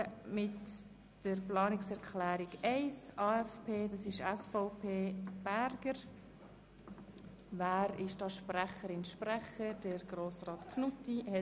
Bezogen auf den Stellenplan 2017 sind in der Zentralverwaltung über alle Direktionen die Stellenprozente um 1 % zu reduzieren.